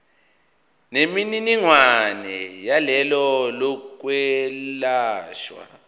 nemininingwane yohlelo lokwelashwa